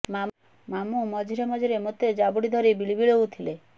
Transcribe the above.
ମାମୁଁ ମଝିରେ ମଝିରେ ମୋତେ ଜାବୁଡ଼ି ଧରି ବିଳି ବିଳୋଉଥିଲେ